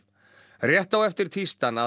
rétt á eftir tísti hann að